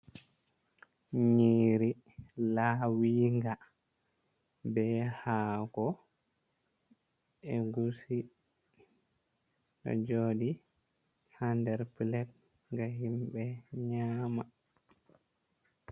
nyiri laawinga be ha ko egusi ɗo jodi ha nder pelet no himɓe nyama.